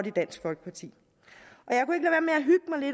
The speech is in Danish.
i dansk folkeparti